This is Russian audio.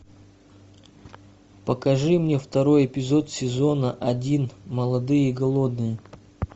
покажи мне второй эпизод сезона один молодые и голодные